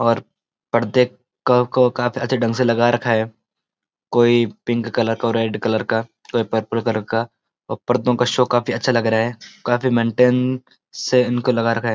और पर्दे क-को काफी अच्‍छे ढंग से लगा रखा है कोई पिंक कलर का और रेड कलर का कोई पर्पल कलर का और पर्दों का शो काफी अच्‍छा लग रहा है काफी मेन्‍टेंन से इनको लगा रखा है।